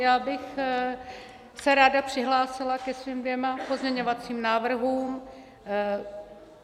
Já bych se ráda přihlásila ke svým dvěma pozměňovacím návrhům.